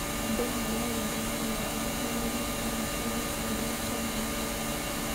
Andũ a Masai arĩa marũaga nĩ manyuaga thakame ĩtukanĩtio na iria.